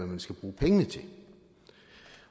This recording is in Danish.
man skal bruge pengene til